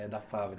É da fábrica.